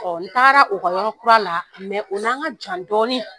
Ɔ n taara u ka yɔrɔ kura la u ni an ka jan dɔɔni.